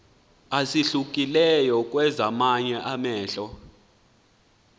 esahlukileyo kwezamanye amahlelo